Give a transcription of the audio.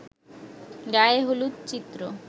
গায়ে হলুদ চিত্র